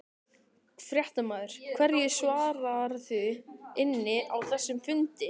Fréttamaður: Hverju svararðu inni á þessum fundi?